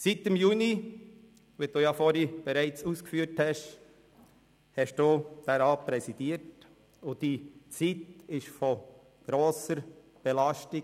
Seit Juni, wie Sie dies bereits ausgeführt haben, haben Sie diesen Rat präsidiert, und Ihre Zeit war mit vielen Geschäften belastet.